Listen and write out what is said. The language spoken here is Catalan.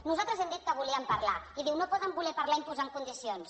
nosaltres hem dit que volíem parlar i diu no poden voler parlar imposant condicions